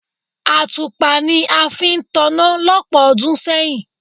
Àtùpà ni a fi ń taná lọ́pọ̀ ọdún sẹ́yìn.